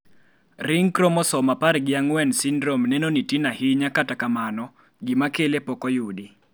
ring chromososme apar gi ang'wen syndrome neno ni tin ahinya kata kamano, gima kele pok oyudi